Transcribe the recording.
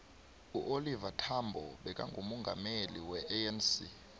uoliver thambo bekangumongameli we anc